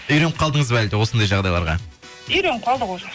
үйреніп қалдыңыз ба әлде осындай жағдайларға үйреніп қалдық уже